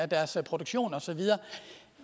deres produktion og så videre